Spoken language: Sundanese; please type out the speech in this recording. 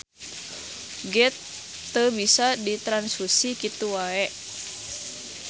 Geth teu bisa ditranfusi kitu wae.